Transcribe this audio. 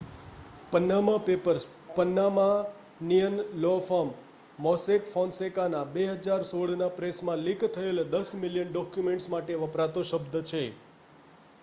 """Panama papers" Panamanian law firm Mossack Fonseca ના 2016 માં પ્રેસમાં લીક થયેલા દસ મિલિયન ડોક્યુમેન્ટ્સ માટે વપરાતો શબ્દ છે.